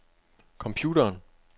computeren